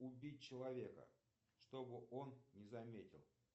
убить человека чтобы он не заметил